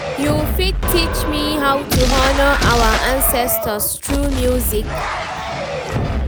you fit teach me how to honour our ancestors through music?